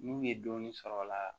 N'u ye dɔɔnin sɔrɔ o la